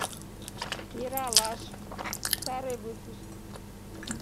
ералаш старый выпуск